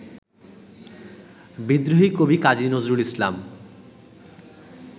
বিদ্রোহী কবি কাজী নজরুল ইসলাম